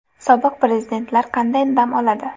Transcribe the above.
Sobiq prezidentlar qanday dam oladi?